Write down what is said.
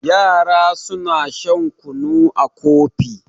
yara suna shan kunu a Kofi